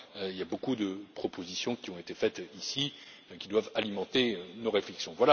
Il y a beaucoup de propositions qui ont été faites ici qui doivent alimenter nos réflexions.